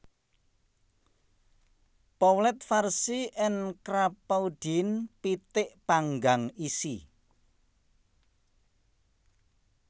Poulet farcie en Crapaudine pitik panggang isi